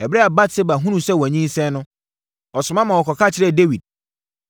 Ɛberɛ a Batseba hunuu sɛ wanyinsɛn no, ɔsoma maa wɔkɔka kyerɛɛ Dawid.